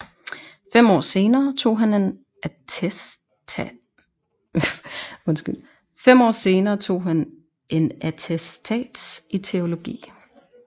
Fem år senere tog han en attestats i teologi